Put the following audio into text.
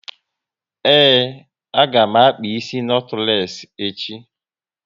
Ee, a ga m akpa isi notules echi